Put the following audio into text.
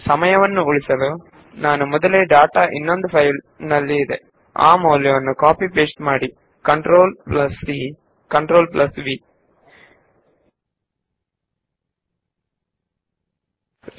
ಸಮಯದ ಅಭಾವದಿಂದಾಗಿ ನಾನು ಈಗಾಗಲೇ ಇನ್ನೊಂದು ಫೈಲ್ ನಲ್ಲಿರುವ ಡಾಟಾವನ್ನು ಕಾಪಿ ಮತ್ತು ಪೇಸ್ಟ್ ಮಾಡುತ್ತೇನೆ CTRLC CTRLV